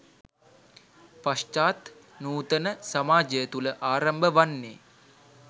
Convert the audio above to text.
පශ්චාත් නූතන සමාජය තුළ ආරම්භ වන්නේ